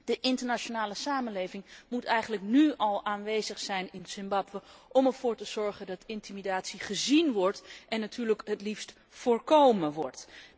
De internationale samenleving moet eigenlijk nu al in Zimbabwe aanwezig zijn om ervoor te zorgen dat intimidatie gezien wordt en natuurlijk het liefst voorkomen wordt.